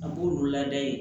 A b'olu lada yen